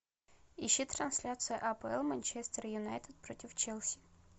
ищи трансляция апл манчестер юнайтед против челси